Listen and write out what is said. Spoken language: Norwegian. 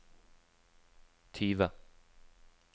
tyve